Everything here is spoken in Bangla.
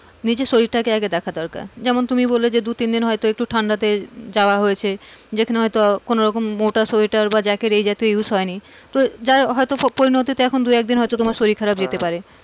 নিজের শরীরটা আগে দেখা দরকার, যেমন তুমি বললে যে দুতিনদিন হয়তো একটু ঠান্ডাতে যাওয়া হয়েছে যেখানে হয়তো কোনোরকম মোটা সোয়েটার বা জ্যাকেট এই জাতীয় use হয় নি, তো যাই হয়তো পরিণতিতে এখন দুয়েকদিন হয়তো তোমার শরীর খারাপ যেতে,